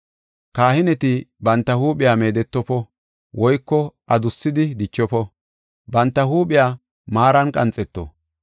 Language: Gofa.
“Kahineti banta huuphiya meedetofo woyko adussidi dichofo; banta huuphiya maaran qanxeto.